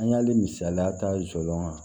An y'a le misaliya ta joona